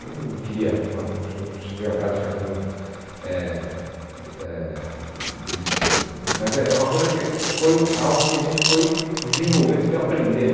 Eu não queria... Acho que não vem ao caso de ficar fazendo eh eh... Mas é é uma coisa que foi algo que a gente foi desenvolvendo, foi aprendendo.